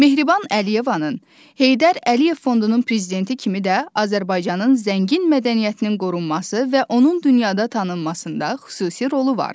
Mehriban Əliyevanın, Heydər Əliyev Fondunun prezidenti kimi də Azərbaycanın zəngin mədəniyyətinin qorunması və onun dünyada tanınmasında xüsusi rolu var.